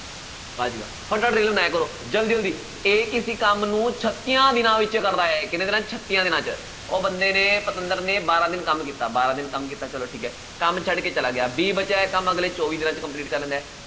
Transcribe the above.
ਵਾਹ ਜੀ ਵਾਹ ਫਟਾਫਟ ਰੇਲ ਬਣਾਇਆ ਕਰੋ ਜ਼ਲਦੀ ਜ਼ਲਦੀ a ਕਿਸੇ ਕੰਮ ਨੂੰ ਛੱਤੀਆਂ ਦਿਨਾਂ ਵਿੱਚ ਕਰਦਾ ਹੈ ਕਿੰਨੇ ਦਿਨਾਂ 'ਚ ਛੱਤੀਆਂ ਦਿਨਾਂ 'ਚ, ਉਹ ਬੰਦੇ ਨੇ ਪਤੰਦਰ ਨੇ ਬਾਰਾਂ ਦਿਨ ਕੰਮ ਕੀਤਾ ਬਾਰਾਂ ਦਿਨ ਕੰਮ ਕੀਤਾ ਚਲੋ ਠੀਕ ਹੈ, ਕੰਮ ਛੱਡ ਕੇ ਚਲਾ ਗਿਆ b ਬਚਿਆ ਹੋਇਆ ਕੰਮ ਅਗਲੇ ਚੌਵੀ ਦਿਨਾਂ 'ਚ complete ਕਰ ਲੈਂਦਾ ਹੈ